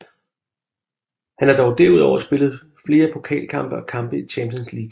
Han har dog derudover spillet flere pokalkampe og kampe i Champions League